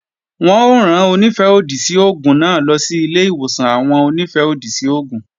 Wọn ó rán Onífẹ́-òdì sí oògùn náà lọ sí ilé-ìwòsàn àwọn Onífẹ́-òdì sí oògùn